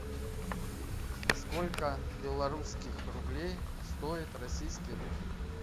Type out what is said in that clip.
сколько белорусских рублей стоит российский рубль